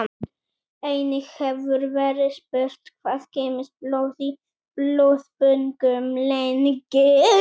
Einnig hefur verið spurt: Hvað geymist blóð í blóðbönkum lengi?